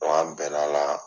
Wa an bɛnna a la.